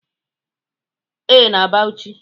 Ee, na Bauchi